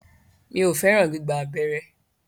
Mi o fẹràn gbígba abẹ́rẹ́.